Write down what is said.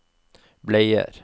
bleier